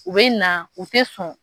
U bɛ na u tɛ sɔn.